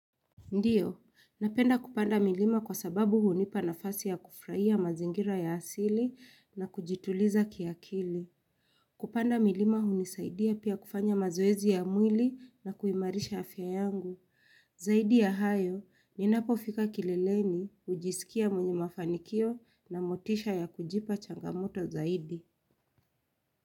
Ndiyo, napenda kupanda milima kwa sababu hunipa nafasi ya kufrahia mazingira ya asili na kujituliza kiakili. Kupanda milima hunisaidia pia kufanya mazoezi ya mwili na kuimarisha afya yangu. Zaidi ya hayo, ninapo fika kileleni, hujisikia mwenye mafanikio na motisha ya kujipa changamoto zaidi.